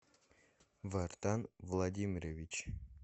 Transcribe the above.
вартан владимирович